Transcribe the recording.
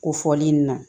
Ko fɔli in na